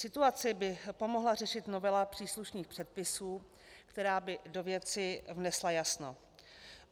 Situaci by pomohla řešit novela příslušných předpisů, která by do věci vnesla jasno.